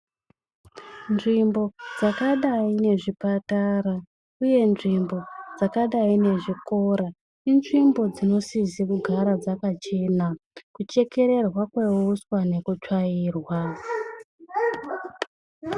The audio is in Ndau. Nzvimbo dzakadai nezvipatara uye nzvimbo dzakadai nezvikora inzvimbo dzinosise kugara dzakachena, kuchekererwa kweuswa nekutsvairwa.